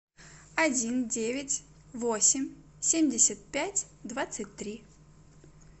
один девять восемь семьдесят пять двадцать три